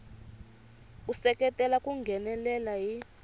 ku seketela ku nghenelela hi